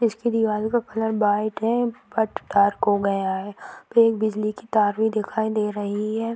इसकी दीवाल का कलर वाइट है बट डार्क हो गया है फिर एक बिजली की तार भी दिखाई दे रही है।